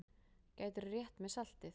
Gætirðu rétt mér saltið?